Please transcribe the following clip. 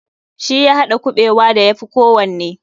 Shi ya haɗa kuɓewa da ya fi kowanne.